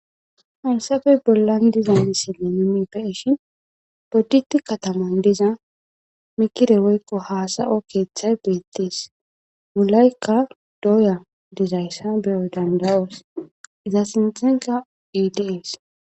Haysape bolan dizaysi bodite Kataman diza mikire woyko hasa'o kethay betes wolayka doya dizaysa be'os danda'os izan sinthanka dees.